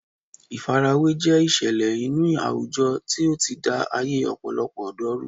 Ìfarawé jẹ́ ìṣẹ̀lẹ̀ inú àwùjọ tí ó ti da ayé ọ̀pọ̀lọpọ̀ ọ̀dọ́ rú